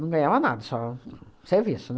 Não ganhava nada, só serviço,